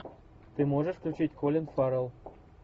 ты можешь включить колин фаррелл